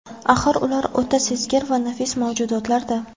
Axir, ular o‘ta sezgir va nafis mavjudotlar-da.